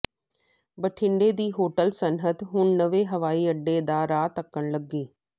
ਬਠਿੰਡਾ ਦੀ ਹੋਟਲ ਸਨਅਤ ਹੁਣ ਨਵੇਂ ਹਵਾਈ ਅੱਡੇ ਦਾ ਰਾਹ ਤੱਕਣ ਲੱਗੀ